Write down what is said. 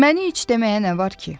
Məni iç deməyə nə var ki?